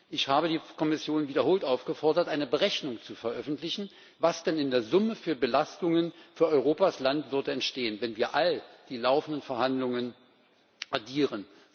Ich habe die Kommission wiederholt aufgefordert, eine Berechnung zu veröffentlichen, was denn in der Summe für Belastungen für Europas Landwirte entstehen, wenn wir die gesamten laufenden Verhandlungen addieren.